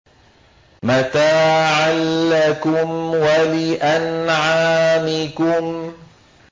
مَّتَاعًا لَّكُمْ وَلِأَنْعَامِكُمْ